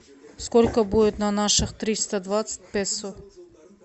сколько будет на наших триста двадцать песо